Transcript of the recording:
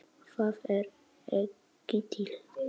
ÞAÐ ER EKKI TIL!!!